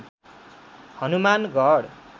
Hanumangarh